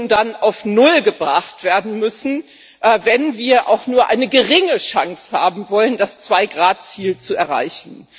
dann auf null gebracht werden müssen, wenn wir auch nur eine geringe Chance haben wollen, das 2 Grad Ziel zu erreichen.